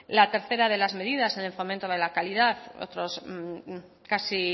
la tercera de las medidas en el fomento de la calidad casi